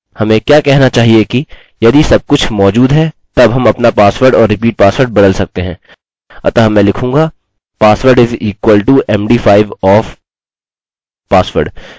हमें repeat password equals md5 और repeat password भी लिखने की आवश्यकता है